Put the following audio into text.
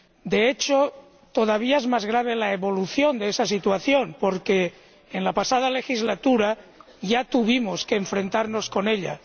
De hecho, todavía es más grave la evolución de esa situación, porque en la pasada legislatura ya tuvimos que enfrentarnos con ella.